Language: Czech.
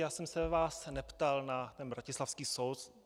Já jsem se vás neptal na ten bratislavský soud.